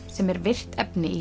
sem er virkt efni í